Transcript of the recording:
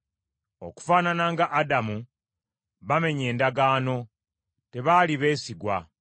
Okufaanana nga Adamu, bamenye endagaano, tebaali beesigwa.